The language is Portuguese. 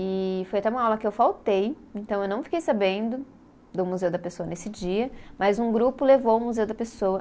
E foi até uma aula que eu faltei, então eu não fiquei sabendo do Museu da Pessoa nesse dia, mas um grupo levou o Museu da Pessoa.